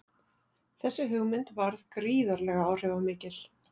Þessi hugmynd varð gríðarlega áhrifamikil.